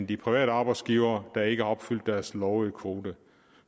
de private arbejdsgivere der ikke har opfyldt deres lovede kvote